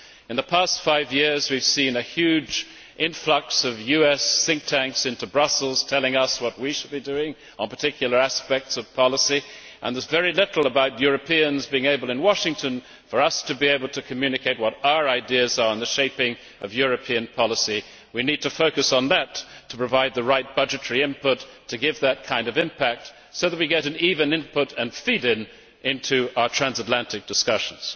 In the past five years we have seen a huge influx of US think tanks into Brussels telling us what we should be doing on particular aspects of policy, but there is very little about Europeans in Washington being able to communicate to the Americans what our ideas are on the shaping of European policy. We need to focus on that to provide the right budgetary input to give that kind of impact, so that we get an even input and feed in into our transatlantic discussions.